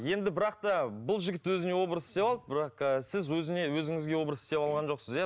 енді бірақ та бұл жігіт өзіне образ істеп алды бірақ сіз өзіңе өзіңізге образ істеп алған жоқсыз иә